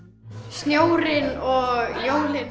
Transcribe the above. snjórinn og jólin